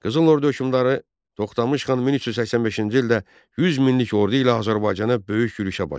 Qızıl Ordu hökmdarı Toxtamış xan 1385-ci ildə 100 minlik ordu ilə Azərbaycana böyük yürüşə başladı.